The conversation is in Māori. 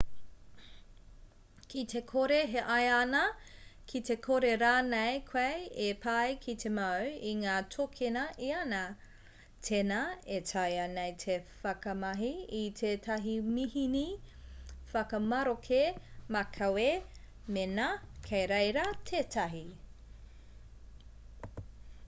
ki te kore he aiana ki te kore rānei koe e pai ki te mau i ngā tōkena iana tēnā e taea nei te whakamahi i tētahi mihini whakamaroke makawe mēnā kei reira tētahi